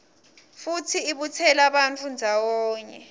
futsi ibutsela bantfu ndzawonye